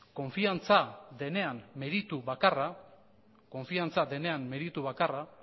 konfiantza denean meritu bakarra